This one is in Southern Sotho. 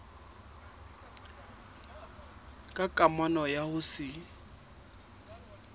ka kamano ya ho se